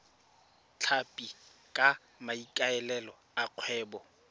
tlhapi ka maikaelelo a kgwebo